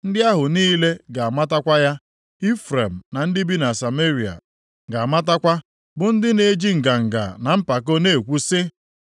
Ndị ahụ niile ga-amatakwa ya, Ifrem na ndị bi na Sameria ga-amatakwa bụ ndị na-eji nganga na mpako na-ekwu sị,